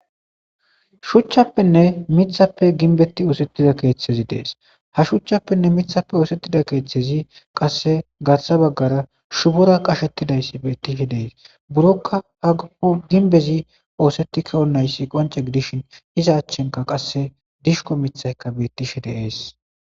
Shuchchappenne mithappe ginbetti oosettida keeththezi dees ha shuchchappenne mithappe oosettida keeththezi qasse garsa baggara shubora qashettidayssi betihe dees burokka ha o ginbezi oosettikeonnayssi qonce gidishin iza achchenka qasse dishko mithayka bettishe de7ees.